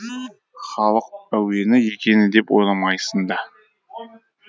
халық әуені екені деп ойламайсың да